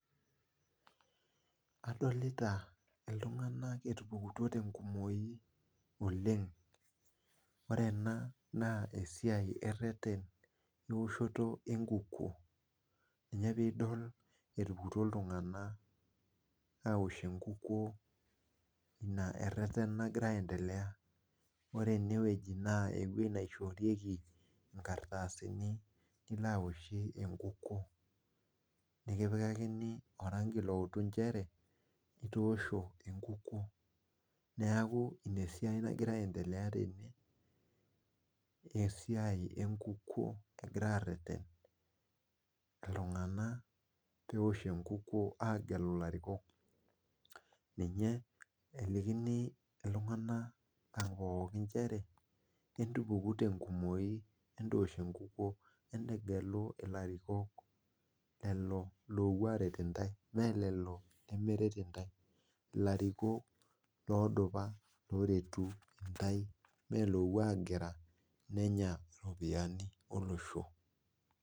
Adolita iltung'anak etupukutuo tenkumoi oleng ore ena naa esiai ereret enkukuo ina piidpl iltung'anak etupukutuo ore ene naa ewueji naishorieki inkardasini nilo aashie enkukuo nikipakikini oranki loutu inchere itoosho enkikunku esiai enkuku egirai aareret pwwgelu ilariko ninche elikini iltung'anak inchere entupuku tenkumoi entoosh enkukuo entegelu ilarikok lelo loopuo aarer intai ilariko loodupa loopuo agira nenya iropiyiani olosho